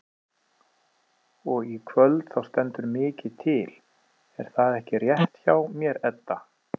Og í kvöld þá stendur mikið til er það ekki rétt hjá mér Edda?